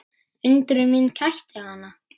Undrun mín kætti hana.